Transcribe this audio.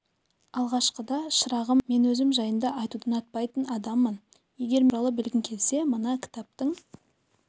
алғашықыда шырағым мен өзім жайында айтуды ұнатпайтын адаммын егер мен туралы білгің келсе мына кітаптың